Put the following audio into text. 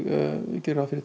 geri ráð fyrir